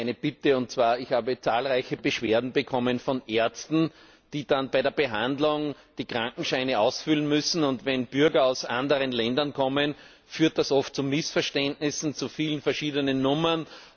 Ich hätte eine Bitte Ich habe zahlreiche Beschwerden von Ärzten bekommen, die bei der Behandlung die Krankenscheine ausfüllen müssen. Und wenn Bürger aus anderen Ländern kommen, führt das oft zu Missverständnissen, zu vielen verschiedenen Nummern.